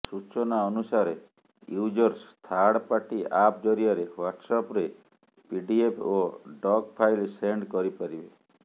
ସୂଚନା ଅନୁସାରେ users third party app ଜରିଆରେ ହ୍ୱାର୍ଟସଆପରେ ପିଡ଼ିଏଫ୍ ଓ ଡକ ଫାଇଲ ସେଣ୍ଡ କରିପାରିବେ